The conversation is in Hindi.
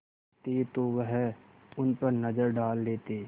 करते तो वह उन पर नज़र डाल लेते